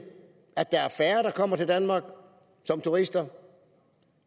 at der er færre der kommer til danmark som turister